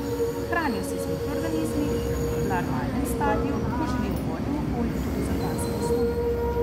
Hranijo se z mikroorganizmi, v larvalnem stadiju, ko živijo v vodnem okolju, tudi z organskimi snovmi.